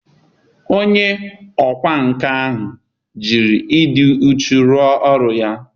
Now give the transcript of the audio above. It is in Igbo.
onye ọkwá nkà jiri ịdị uchu rụọ ọrụ ya.